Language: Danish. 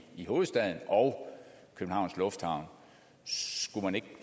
hovedstaden og københavns lufthavn skulle man ikke